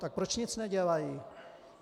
Tak proč nic nedělají?